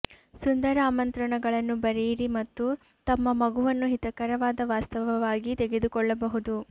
ಸುಂದರ ಆಮಂತ್ರಣಗಳನ್ನು ಬರೆಯಿರಿ ಮತ್ತು ತಮ್ಮ ಮಗುವನ್ನು ಹಿತಕರವಾದ ವಾಸ್ತವವಾಗಿ ತೆಗೆದುಕೊಳ್ಳಬಹುದು